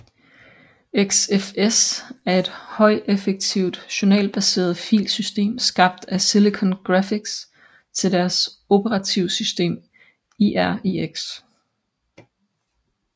XFS er et højeffektivt journalbaseret filsystem skabt af Silicon Graphics til deres operativsystem IRIX